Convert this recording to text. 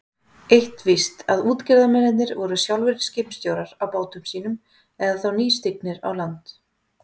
Eins víst að útgerðarmennirnir væru sjálfir skipstjórar á bátum sínum eða þá nýstignir á land.